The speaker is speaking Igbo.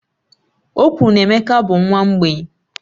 Okwuru na Emeka bụ nwa mgbei